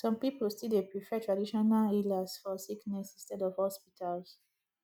some pipo still dey prefer traditional healers for sickness instead of hospitals